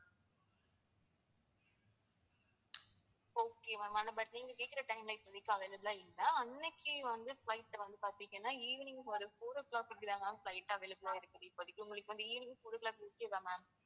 okay ma'am ஆனா but நீங்க கேக்குற time ல இப்போதைக்கு available லா இல்ல. அன்னைக்கு வந்து flight வந்து பாத்தீங்கன்னா evening ஒரு four o'clock அப்படித்தான் ma'am flight available லா இருக்கு இப்போதைக்கு உங்களுக்கு வந்து evening four o'clock okay வா ma'am